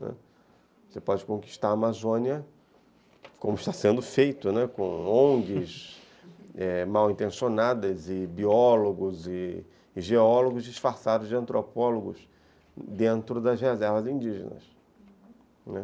Né, você pode conquistar a Amazônia como está sendo feito, né, com onguis mal intencionadas e biólogos e geólogos disfarçados de antropólogos dentro das reservas indígenas, uhum, né.